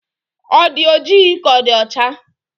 Ị dị ojii ka ị dị ọcha?